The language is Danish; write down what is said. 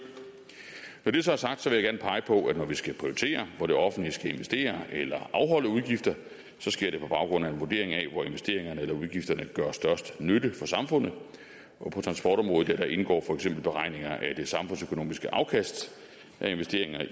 når det så er sagt vil jeg gerne pege på at når vi skal prioritere hvor det offentlige skal investere eller afholde udgifter sker det på baggrund af en vurdering af hvor investeringerne eller udgifterne gør størst nytte for samfundet og på transportområdet indgår for eksempel beregninger af det samfundsøkonomiske afkast af investeringer